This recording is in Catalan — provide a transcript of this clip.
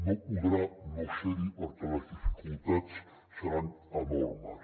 no podrà no ser hi perquè les dificultats seran enormes